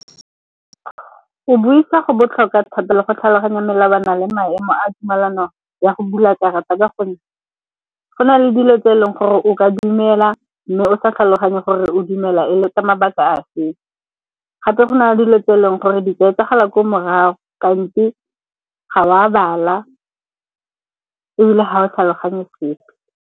Go buisa go botlhokwa thata le go tlhaloganya melawana le maemo a tumelano ya go bula karata, ka gonne go na le dilo tse e leng gore o ka dumela mme o sa tlhaloganye go gore o dumela e le ka mabaka a feng. Gape go na le dilo tse e leng gore di ka etsagala ko morago kante ga wa bala ebile ga o tlhaloganye sepe.